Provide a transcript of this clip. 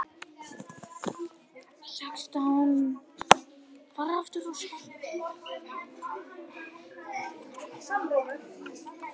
Hvernig gat hann ráðist svona á mig, einmitt þegar illa stóð á?